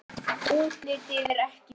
Útlitið er ekki gott.